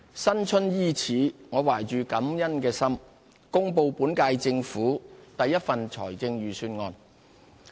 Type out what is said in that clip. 新春伊始，我懷着感恩的心，公布本屆政府第一份財政預算案。